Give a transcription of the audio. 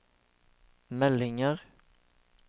meldinger